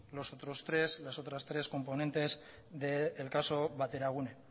los otros tres componentes del caso bateragune